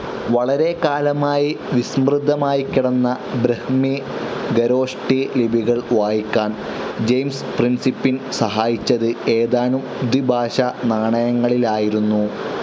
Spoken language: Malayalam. വളരെക്കാലമായി വിസ്‌മൃതമായിക്കിടന്ന ബ്രാഹ്മി, ഖരോഷ്ടി ലിപികൾ വായിക്കാൻ ജെയിംസ് പ്രിൻസിപ്പിൻ സഹായിച്ചത് ഏതാനും ധ്വിഭാഷ നാണയങ്ങളിലായിരുന്നു.